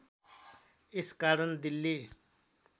यस कारण दिल्ली